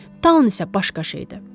Dan isə başqa şeydir.